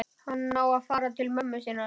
Hann á að fara til mömmu sinnar.